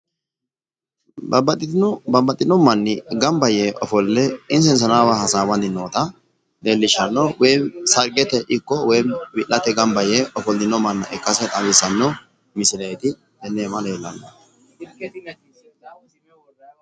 Babbaxino dani uduune udidhe gamba yte maatete hasaawa hasaabbanni nootta xawisano misileti woyi ganbooshu basse sarigete baseti.